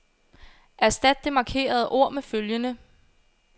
Erstat det markerede ord med følgende.